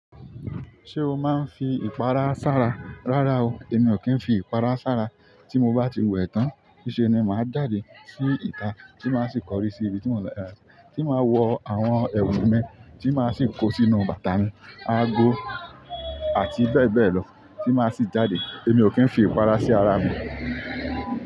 Ṣé o máa ń fi ìpara sára? Rárá o, èmi ò kí ń fi ìpara sára. Tí mo bá ti wẹ̀ tán, nísẹ́ ni màá jàde, sí ìta, tí màá sì kọrí sí ibi tí mo ń lọ, tí màá wọ àwọn ẹ̀wù mi, tí màá sì kó sínú bàtà mi, aago àti bẹ́ẹ̀ bẹ́ẹ̀ lọ tí màá sì jáde. Èmi ò kí ń fi ìpara sí ara mi.